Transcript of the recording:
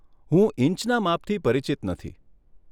હું ઈંચના માપથી પરિચિત નથી.